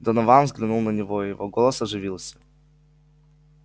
донован взглянул на него и его голос оживился